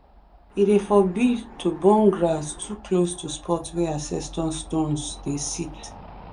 e dey forbid to burn grass too close to spot wey ancestor stones dey sit.